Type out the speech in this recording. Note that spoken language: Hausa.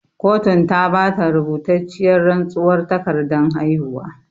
Kotun ta bata rubutacciyar rantsuwar takardan haihuwa